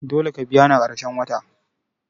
Dole ka biya ni a karshen wata!